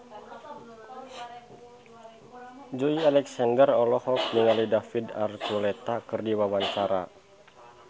Joey Alexander olohok ningali David Archuletta keur diwawancara